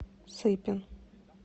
сыпин